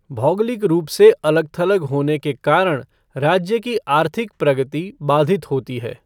भौगोलिक रूप से अलग थलग होने के कारण राज्य की आर्थिक प्रगति बाधित होती है।